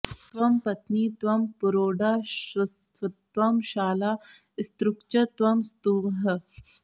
त्वं पत्नी त्वं पुरोडाशस्त्वं शाला स्त्रुक्च त्वं स्तुवः